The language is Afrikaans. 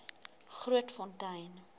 grootfontein